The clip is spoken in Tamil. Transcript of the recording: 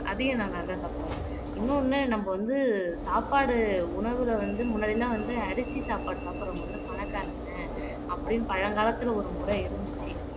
அதையும் நான் நல்லா சாப்பிடுவேன் இன்னொண்ணு நம்ம வந்து சாப்பாடு உணவுல வந்து முன்னாடி எல்லாம் வந்து அரிசி சாப்பாடு சாப்பிடறவங்க வந்து பணக்காரங்க அப்படின்னு பழங்காலத்தில ஒரு முறை இருந்துச்சு